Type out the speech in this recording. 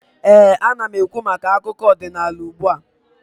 ee, ana m ekwu maka akụkọ ọdịnaala ugbua